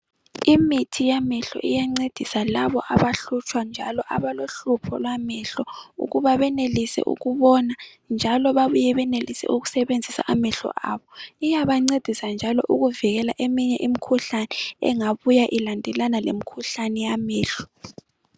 imithi yamehlo iyancedisa laba abahlutshwa njalo abalohlupho lwamehlo ukuba benelise ukubona njalo besebenzise amehlo ababo iyabancedisa ukuba ivikele leminye imikhuhlane engafuna ukuhlasela amehlo